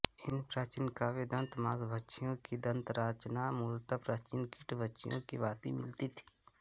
इन प्राचीन क्रव्यदंत मांसभक्षियों की दंतरचना मूलत प्राचीन कीटभक्षियों की भाँति मिलती थी